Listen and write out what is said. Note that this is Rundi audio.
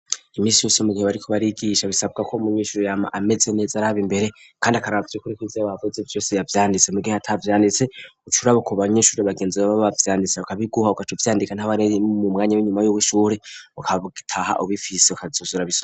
Imisi yose mu gihe bariko barigigisha bisabwa ko mu nyishuri yama ameze neza araba imbere kandi akarabavye kuri ko inzire bavuze vyose yavyanditse mu gihe hatavyanditse ucurabo ku banyishuri bagenzi bbab bavyanditse akabiguha ugaca vyandika nt'abareyi mu mwanya w'inyuma y'ub'ishuhure ukataha ubifise kazuzura .